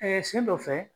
sen dɔ fɛ